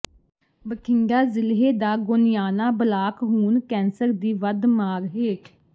ਬਠਿੰਡਾ ਜ਼ਿਲ੍ਹੇ ਦਾ ਗੋਨਿਆਣਾ ਬਲਾਕ ਹੁਣ ਕੈਂਸਰ ਦੀ ਵੱਧ ਮਾਰ ਹੇਠ